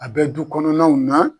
A bɛ dukɔnɔnaw na